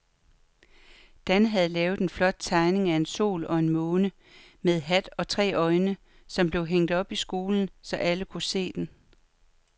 Dan havde lavet en flot tegning af en sol og en måne med hat og tre øjne, som blev hængt op i skolen, så alle kunne se den.